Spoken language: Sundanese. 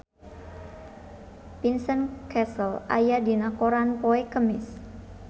Vincent Cassel aya dina koran poe Kemis